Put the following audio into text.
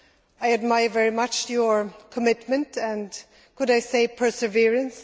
I admire very much your commitment and, could I say, perseverance.